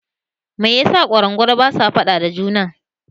Me yasa kwarangwal basa faɗa da juna?